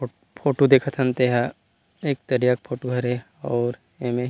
photo देखत हन ते ह एक तरिया फोटो हरे अउर एमे --